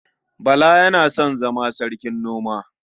Bala yana son zama sarkin noma.